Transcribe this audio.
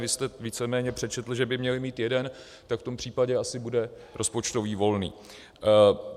Vy jste víceméně přečetl, že by měla mít jeden, tak v tom případě asi bude rozpočtový volný.